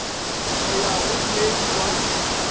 go ya go mei wa